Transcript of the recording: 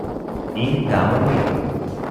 In damo mir.